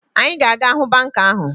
Anyị ga-aga hụ banka ahụ